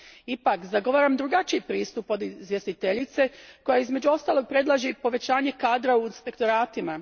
Ipak zagovaram drugačiji pristup od izvjestiteljice, koja između ostalog predlaže i povećanje kadra u inspektoratima.